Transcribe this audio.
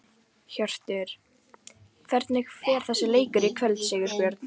Hjörtur: Hvernig fer þessi leikur í kvöld, Sigurbjörn?